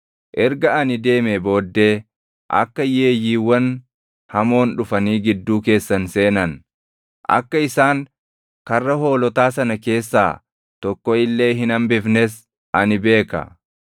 Erga ani deemee booddee akka yeeyyiiwwan hamoon dhufanii gidduu keessan seenan, akka isaan karra hoolotaa sana keessaa tokko illee hin hambifnes ani beeka.